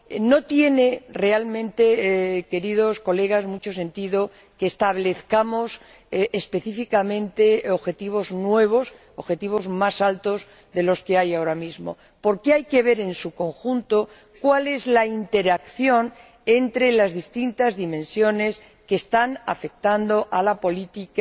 no tiene realmente mucho sentido que establezcamos específicamente objetivos nuevos, objetivos más altos de los que hay ahora mismo. Porque hay que ver en su conjunto cuál es la interacción entre las distintas dimensiones que están afectando a la política